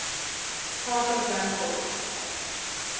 house of dunkeld